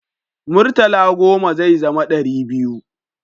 Murtala goma zai zama dari biyu